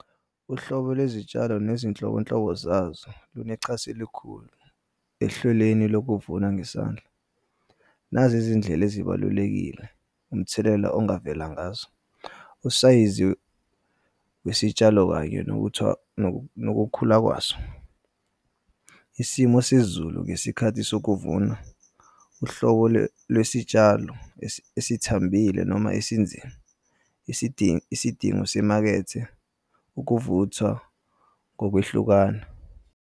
Uhlobo lwezitshalo nezinhlobonhlobo zazo zinechaso elikhulu ehlelweni lokuvuna ngesandla. Nazi izindlela ezibalulekile umthelela ongavela ngazo. Usayizi wesitshalo kanye nokukhula kwaso, isimo sezulu ngesikhathi sokuvuna, uhlobo lwesitshalo esithambile noma esinzima. Isidingo semakethe, ukuvuthwa kokwehlukana.